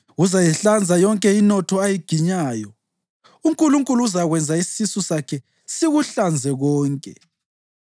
Uzayihlanza yonke inotho ayiginyayo; uNkulunkulu uzakwenza isisu sakhe sikuhlanze konke.